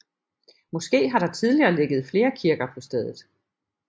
Måske har der tidligere ligget flere kirker på stedet